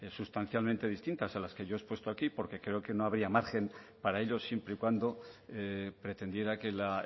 sustancialmente distintas a las que yo he expuesto aquí porque creo que no habría margen para ello siempre y cuando pretendiera que la